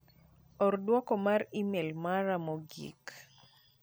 Or duoko mar imel mara mogik.